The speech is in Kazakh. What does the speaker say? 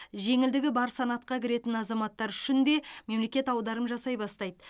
жеңілдігі бар санатқа кіретін азаматтар үшін де мемлекет аударым жасай бастайды